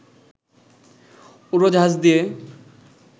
উড়োজাহাজ দিয়ে